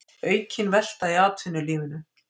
Aukin velta í atvinnulífinu